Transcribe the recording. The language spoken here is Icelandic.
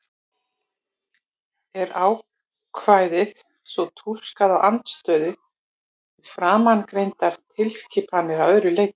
Er ákvæðið svo túlkað í andstöðu við framangreindar tilskipanir að öðru leyti?